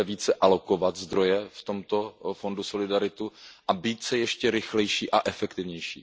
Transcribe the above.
Zaprvé, více alokovat zdroje v tomto Fondu solidarity a zadruhé, být ještě rychlejší a efektivnější.